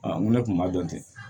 n ko ne kun b'a dɔn ten